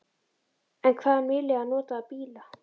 En hvað um nýlega notaða bíla?